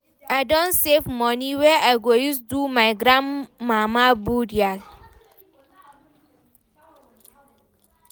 I don save moni wey I go use do my grandmama burial.